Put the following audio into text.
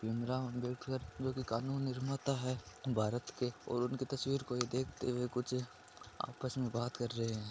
भीम राव अंबेडकर कानून निर्माता है भारत के और उनकी तस्वीर को देखते हुए है कुछ आपस में बात कर रहे है।